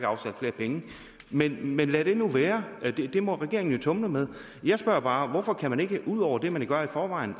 afsat flere penge men men lad det nu være det må regeringen jo tumle med jeg spørger bare hvorfor kan man ikke ud over det man gør i forvejen